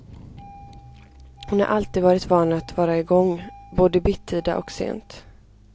Hon har alltid varit van att vara igång, både bittida och sent.